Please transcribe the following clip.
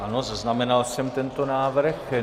Ano, zaznamenal jsem tento návrh.